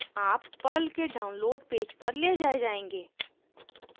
आप पर्ल के download page पर ले जाये जायेंगे